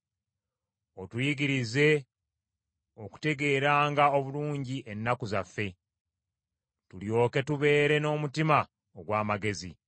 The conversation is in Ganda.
Otuyigirize okutegeeranga obulungi ennaku zaffe, tulyoke tubeere n’omutima ogw’amagezi.